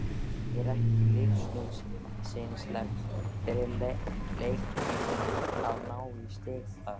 Er ekki lífsnauðsynlegt fyrir Leikni að ná í stig þar?